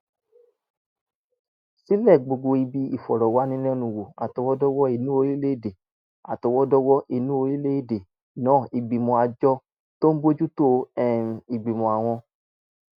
ṣílẹ̀ gbogbo ibi ìfọ̀rọ̀wánilẹ́nuwò àtọwọ́dọ́wọ́ inú orílẹ̀-èdè àtọwọ́dọ́wọ́ inú orílẹ̀-èdè náà ìgbìmọ̀ àjọ tó ń bójú tó um ìgbìmọ̀ àwọn